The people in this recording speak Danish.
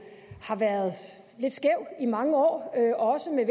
har været lidt skæv i mange år også da